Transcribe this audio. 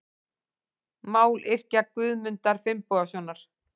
Mályrkja Guðmundar Finnbogasonar.